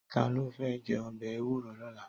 Tàló fè jè òbè éwúró lòlá?